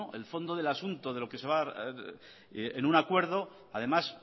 el fondo del asunto de lo que se va en un acuerdo además